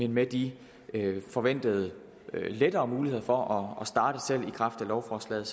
med de forventede lettere muligheder for at starte selv i kraft af lovforslaget